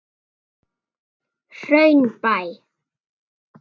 Hraunbæ